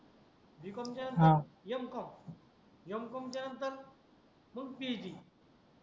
b. Com च्या नंतर हा m. Com m. com च्या नंतर मग phd